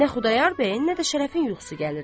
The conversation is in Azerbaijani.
Nə Xudayar bəyin, nə də Şərəfin yuxusu gəlirdi.